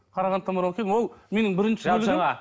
қарағандыдан барып алып келдім ол менің бірінші